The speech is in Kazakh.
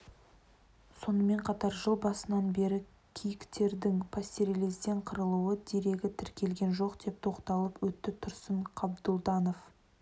сонымен қатар жыл басынан бері киіктердің пастереллезден қырылу дерегі тіркелген жоқ деп тоқталып өтті тұрсын қабдұлданов